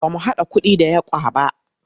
Ba mu haɗa kuɗi da yawq ba.